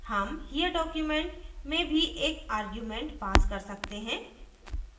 हम here document में भी एक आर्ग्यूमेंट pass कर सकते हैं